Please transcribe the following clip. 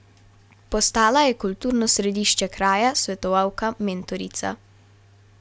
Postala je kulturno središče kraja, svetovalka, mentorica.